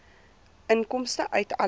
inkomste uit alle